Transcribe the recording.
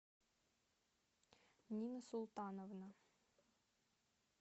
нина султановна